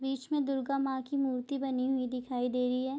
बीच में दुर्गा माँ की मूर्ति बनी हुई दिखाई दे रही है।